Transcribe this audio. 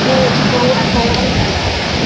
हो हो कव्हर झाल्या आणि,